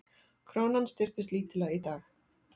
Krónan styrktist lítillega í dag